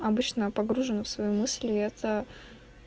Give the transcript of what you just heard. обычна я погружена в свои мысли и это